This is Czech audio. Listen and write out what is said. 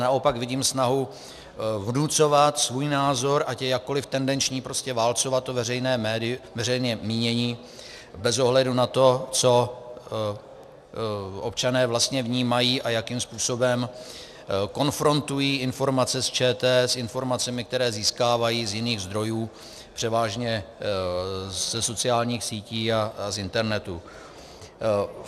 Naopak vidím snahu vnucovat svůj názor, ať je jakkoliv tendenční, prostě válcovat to veřejné mínění bez ohledu na to, co občané vlastně vnímají a jakým způsobem konfrontují informace z ČT s informacemi, které získávají z jiných zdrojů, převážně ze sociálních sítí a z internetu.